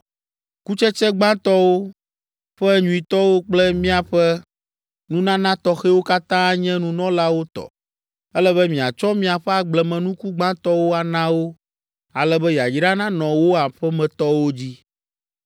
Kutsetse gbãtɔwo ƒe nyuitɔwo kple miaƒe nunana tɔxɛwo katã anye nunɔlawo tɔ. Ele be miatsɔ miaƒe agblemenuku gbãtɔwo ana wo, ale be yayra nanɔ wò aƒemetɔwo dzi.